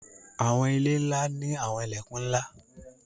Àwọńilẹ̀ nla ni Àwọńilẹ̀kún nla.